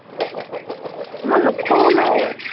মই নোখোলো।